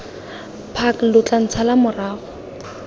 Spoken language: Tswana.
park lo tla ntshala morago